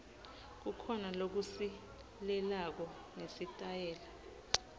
kukhona lokusilelako ngesitayela